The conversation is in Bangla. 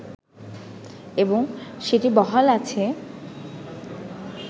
এবং সেটি বহাল আছে